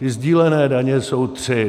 Ty sdílené daně jsou tři.